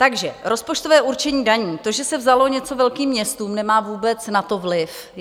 Takže rozpočtové určení daní, to, že se vzalo něco velkým městům, nemá vůbec na to vliv.